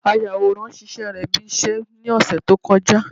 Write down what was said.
Ayàwòrá ṣíṣe rẹ̀ bí iṣẹ́ ní ọ̀sẹ̀ tó kọjá